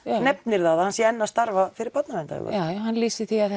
nefnir að hann sé enn að starfa með börnum já hann lýsir því að